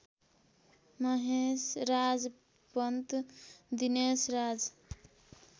Maheshraj Pant Dineshraj